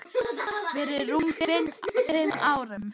Fyrir rúmum fimm árum.